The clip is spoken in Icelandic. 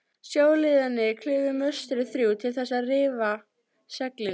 Sjóliðarnir klifu möstrin þrjú til þess að rifa seglin.